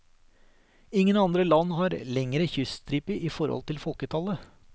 Ingen andre land har lengre kyststripe i forhold til folketallet.